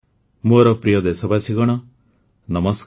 ଓଡ଼ିଶାର ବିଶ୍ୱ ପ୍ରସିଦ୍ଧ ରଥଯାତ୍ରା ସମ୍ପର୍କରେ ଉଲ୍ଲେଖ କଲେ ପ୍ରଧାନମନ୍ତ୍ରୀ